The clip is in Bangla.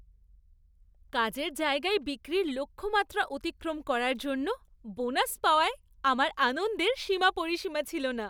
কাজের জায়গায় বিক্রির লক্ষ্যমাত্রা অতিক্রম করার জন্য বোনাস পাওয়ায় আমার আনন্দের সীমা পরিসীমা ছিল না!